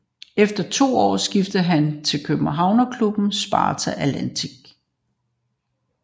Efter to år skiftede han til københavnerklubben Sparta Atletik